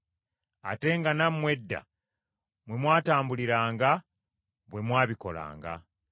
ate nga nammwe edda mwe mwatambuliranga, bwe mwabikolanga.